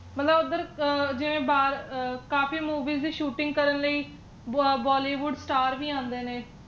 ਮਤਲਬ ਓਧਰ ਜਿਵੇ ਕਾਫੀ movies ਦੀ shooting ਕਰਨ ਲਈ ਬ bollywood star ਵੀ ਆਂਦੇ ਨੇ